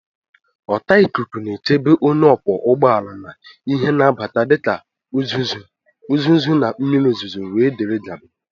Ọta ikuku na-echebe onye ọkwọ ụgbọ ala na ihe na-abata dịka uzuzu na mmiri ozuzo wdg